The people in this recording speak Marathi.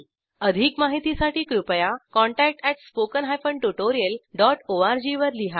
अधिक माहितीसाठी कृपया contact at spoken hyphen tutorial dot O R G वर लिहा